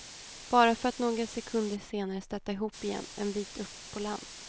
Bara för att några sekunder senare stöta ihop igen en bit upp på land.